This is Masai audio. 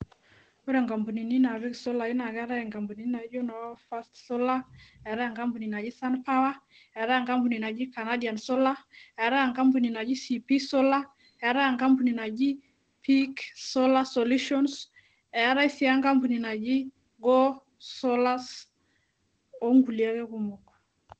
Wore inkampunini naapik isolai naa keetae inkampunini naijo noo first solar, eetae enkampuni naji Sun power, eetae enkampuni naji Canadian solar, eetae enkampuni naji CP solar, eetae enkampuni naji pick solar solution, eetae sii enkampuni naji Go solars, wonkulie ake kumok.